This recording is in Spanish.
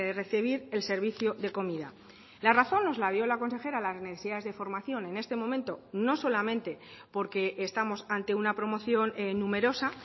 recibir el servicio de comida la razón nos la dio la consejera las necesidades de formación en este momento no solamente porque estamos ante una promoción numerosa